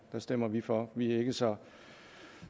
stemmer vi for vi er ikke så